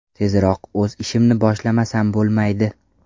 Tezroq o‘z ishimni boshlamasam bo‘lmaydi.